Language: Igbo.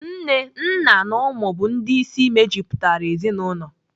Nne, nna na ụmụ bụ ndị isi mejupụtara ezinaụlọ.